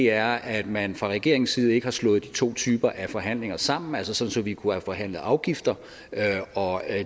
er at man fra regeringens side ikke har slået de to typer af forhandlinger sammen altså sådan at vi kunne have forhandlet afgifter og